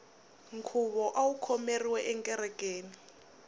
nkhuvo awu khomeriwe ekerekeni